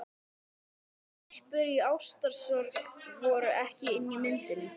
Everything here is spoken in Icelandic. Stelpur í ástarsorg voru ekki inni í myndinni.